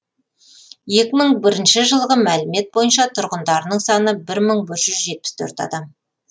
екі мың бірінші жылғы мәлімет бойынша тұрғындарының саны бір мың бір жүз жетпіс төрт адам